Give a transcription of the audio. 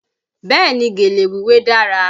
Bẹ́ẹ̀ ni, gèlè wíwé dára